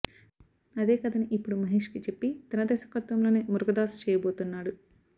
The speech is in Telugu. అదే కథని ఇప్పుడు మహేష్కి చెప్పి తన దర్శకత్వంలోనే మురుగదాస్ చేయబోతున్నాడు